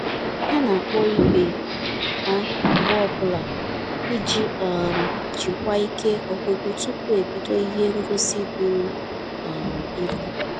Ha na-akpọ ibe ha mgbe ọbụla iji um jikwa ike ọgụgụ tupu ebido ihe ngosi bụrụ um ibu